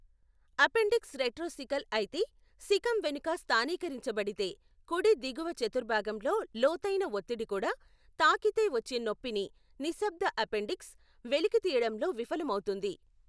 Appendix రెట్రోసికల్ అయితే, సికమ్ వెనుక స్థానీకరించబడితే, కుడి దిగువ చతుర్భాగంలో లోతైన ఒత్తిడి కూడా, తాకితే వచ్చే నొప్పిని, నిశ్శబ్ద అపెండిక్స్, వెలికితీయడంలో విఫలమవుతుంది.